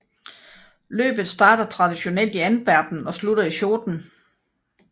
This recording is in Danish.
Løbet starter traditionelt i Antwerpen og slutter i Schoten